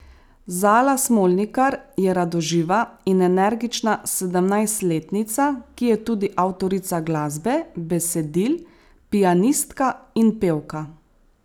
Zala Smolnikar je radoživa in energična sedemnajstletnica, ki je tudi avtorica glasbe, besedil, pianistka in pevka.